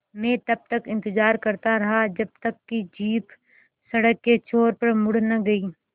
मैं तब तक इंतज़ार करता रहा जब तक कि जीप सड़क के छोर पर मुड़ न गई